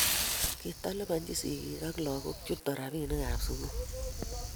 Kitalipanchini sigik ab lagok chutok rabinik ab sukul